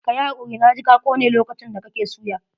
Ka yi hakuri, na ji ka kone lokacin da kake suya.